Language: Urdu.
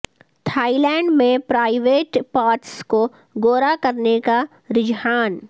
تھائی لینڈ میں پرائیویٹ پارٹس کو گورا کرنے کا رجحان